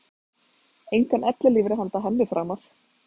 Engan ellilífeyri handa henni framar.